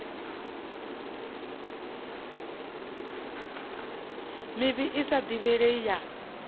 mivhi i sa divhalei ya